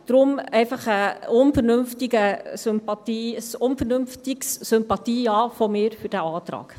Deshalb von mir ein unvernünftiges Sympathie-Ja für diesen Antrag.